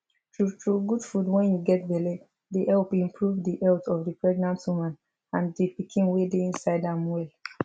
true true good food wen u get belle dey help improve the health of the pregnant woman and the pikiin wey dey inside am well